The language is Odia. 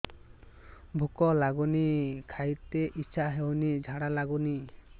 ଭୁକ ଲାଗୁନି ଖାଇତେ ଇଛା ହଉନି ଝାଡ଼ା ଲାଗୁନି